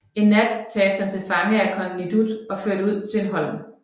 En nat tages han til fange af kong Nidud og ført ud på en holm